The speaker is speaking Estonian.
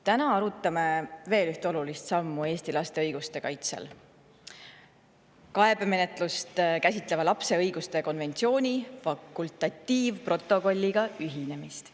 Täna arutame veel ühte olulist sammu Eesti laste õiguste kaitses ehk kaebemenetlust käsitleva lapse õiguste konventsiooni fakultatiivprotokolliga ühinemist.